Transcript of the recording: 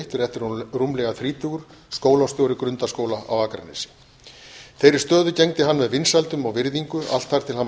og eitt rétt rúmlega þrítugur skólastjóri grundaskóla á akranesi þeirri stöðu gegndi hann með vinsældum og virðingu allt þar til hann var